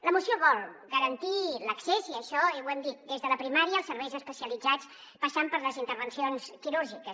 la moció vol garantir l’accés i això ho hem dit des de la primària als serveis especialitzats passant per les intervencions quirúrgiques